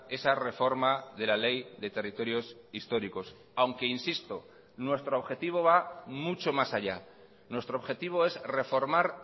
esa reforma de la ley de territorios históricos aunque insisto nuestro objetivo va mucho más allá nuestro objetivo es reformar